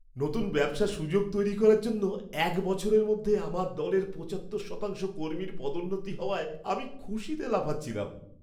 নতুন ব্যবসার সুযোগ তৈরি করার জন্য এক বছরের মধ্যে আমার দলের পঁচাত্তর শতাংশ কর্মীর পদোন্নতি হওয়ায় আমি খুশিতে লাফাচ্ছিলাম।